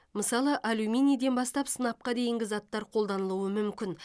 мысалы алюминийден бастап сынапқа дейінгі заттар қолданылуы мүмкін